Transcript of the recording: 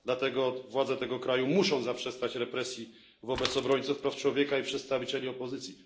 Dlatego władze tego kraju muszą zaprzestać represji wobec obrońców praw człowieka i przedstawicieli opozycji.